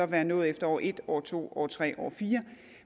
være nået efter år et år to år tre år fire